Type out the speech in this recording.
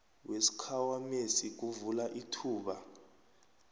wesikhwamesi kuvula ithuba